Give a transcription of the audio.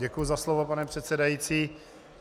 Děkuji za slovo, pane předsedající.